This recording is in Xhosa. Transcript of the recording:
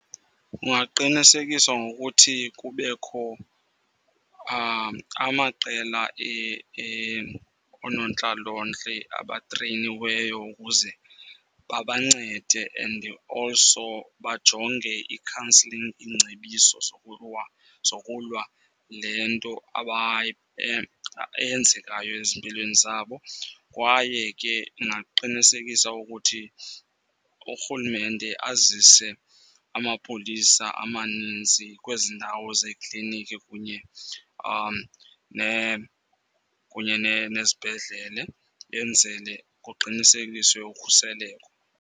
Kungaqinisekiswa ngokuthi kubekho amaqela oonontlalontle abatreyiniweyo ukuze babancede and also bajonge i-counselling, iingcebiso zokulwa le nto eyenzekayo ezimpilweni zabo. Kwaye ke ingaqinisekisa ukuthi urhulumente azise amapolisa amaninzi kwezi ndawo zekliniki kunye kunye nezibhedlele enzele kuqinisekiswe ukhuseleko.